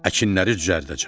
Əkinləri düzəldəcəm.